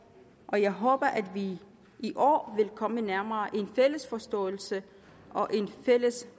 og jeg håber at vi i år vil komme nærmere en fælles forståelse og en fælles